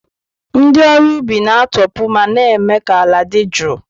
Ndị ọrụ ubi na-atọpụ ma na-eme ka ala dị jụụ.